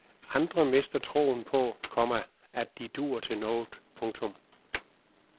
Andre mister troen på, komma at de dur til noget. punktum